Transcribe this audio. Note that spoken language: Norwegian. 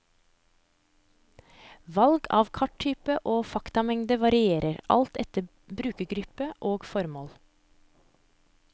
Valg av karttyper og faktamengde varierer, alt etter brukergruppe og formål.